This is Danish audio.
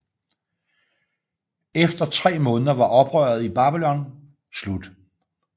Efter tre måneder var oprøret i Babylonien slut